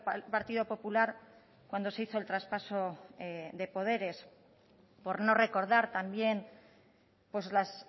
el partido popular cuando se hizo el traspaso de poderes por no recordar también las